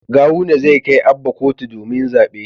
Gawuna zai kai Abba kotu domin zabe